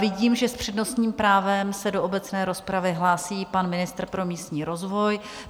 Vidím, že s přednostním právem se do obecné rozpravy hlásí pan ministr pro místní rozvoj.